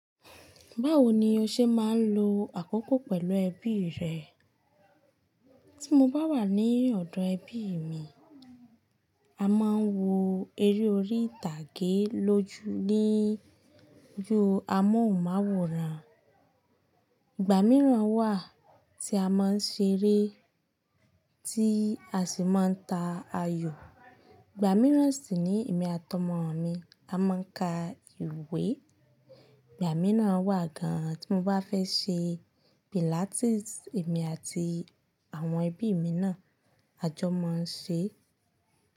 Báwo ni o ṣe máa ń lo àkókò pẹ̀lú ẹbí rẹ? Tí mo bá wà ní ọ̀dọ̀ ẹbí mi, a máa ń wo eré orí ìtàgé lójú ní ju amóhùnmáwòrán. Ìgbà mìíràn wà tí a máa ń ṣeré tí a sì máa ń ta ayò. Ìgbà mìíràn sì nii èmi àti ọmọ mi a máa ń ka ìwé. Ìgbà mìíràn wà gan-an tí mo bá fẹ́ ṣe pilates, èmi àti àwọn ẹbí mi náà a jọ máa ń ṣe.